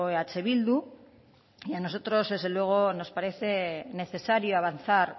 eh bildu y a nosotros desde luego nos parece necesario avanzar